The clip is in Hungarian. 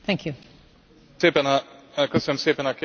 Köszönöm szépen a kérdést, Képviselő Úr!